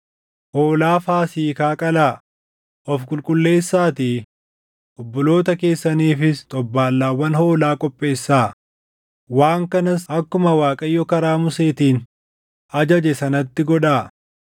Hoolaa Faasiikaa qalaa; of qulqulleessaatii obboloota keessaniifis xobbaallaawwan hoolaa qopheessaa; waan kanas akkuma Waaqayyo karaa Museetiin ajaje sanatti godhaa.”